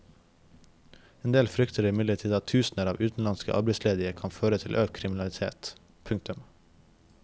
En del frykter imidlertid at tusener av utenlandske arbeidsledige kan føre til økt kriminalitet. punktum